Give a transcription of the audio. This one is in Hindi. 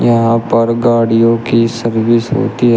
यहां पर गाड़ियों की सर्विस होती है।